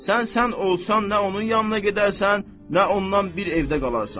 Sən sən olsan nə onun yanına gedərsən, nə ondan bir evdə qalarsan.